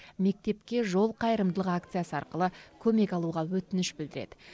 мектепке жол қайырымдылық акциясы арқылы көмек алуға өтініш білдіреді